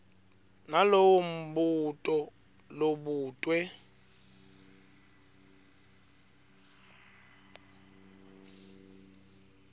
nalowo mbuto lobutwe